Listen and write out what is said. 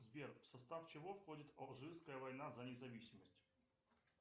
сбер в состав чего входит алжирская война за независимость